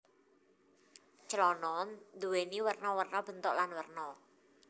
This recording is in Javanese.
Clana nduwèni werna werna bentuk lan werna